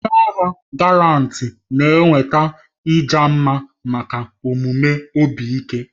Ndị agha Galanti na-enweta ịja mma maka omume obi ike.